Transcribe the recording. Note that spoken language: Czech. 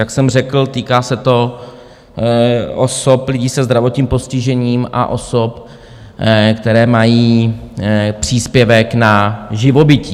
Jak jsem řekl, týká se to osob - lidí se zdravotním postižením a osob, které mají příspěvek na živobytí.